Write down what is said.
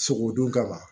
Sogo dun kama